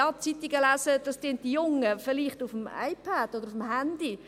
Ja, die Jungen lesen vielleicht auf dem iPad Zeitungen oder auf dem Handy.